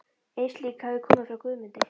Ein slík hafði komið frá Guðmundi